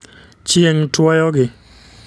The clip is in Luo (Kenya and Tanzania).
Chieng' tuoyo gi